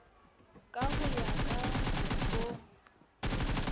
ka ho ya ka kelo